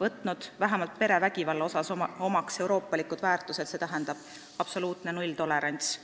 võtnud vähemalt perevägivalla asjus omaks euroopalikud väärtused, st perevägivallale kehtib absoluutne nulltolerants.